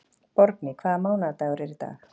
Borgný, hvaða mánaðardagur er í dag?